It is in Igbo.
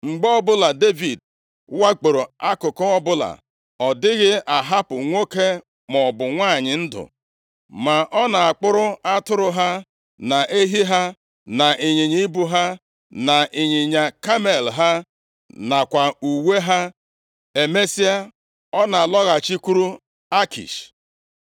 Mgbe ọbụla Devid wakporo akụkụ ọbụla, ọ dịghị ahapụ nwoke maọbụ nwanyị ndụ. Ma ọ na-akpụrụ atụrụ ha, na ehi ha, na ịnyịnya ibu ha, na ịnyịnya kamel ha, nakwa uwe ha. Emesịa, ọ na-alọghachikwuru Akish.